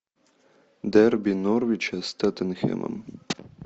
дерби норвича с тоттенхэмом